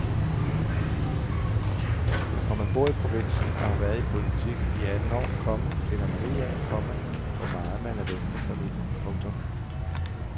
Når man bor i provinsen og har været i politik i atten år, komma finder man ud af, komma hvor meget man er væk fra familien. punktum